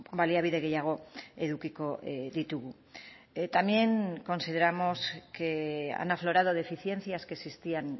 baliabide gehiago edukiko ditugu también consideramos que han aflorado deficiencias que existían